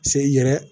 Se i yɛrɛ